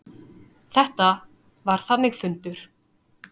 Þetta var þannig fundur.